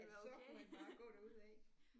At så kunne han bare gå derudaf